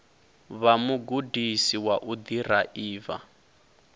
vha mugudisi wa u ḓiraiva